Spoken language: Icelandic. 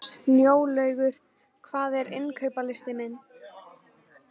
Snjólaugur, hvað er á innkaupalistanum mínum?